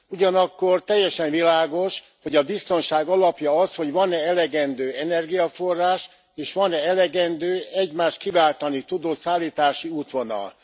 Ugyanakkor teljesen világos, hogy a biztonság alapja az, hogy van e elegendő energiaforrás, és van e elegendő egymást kiváltani tudó szállítási útvonal.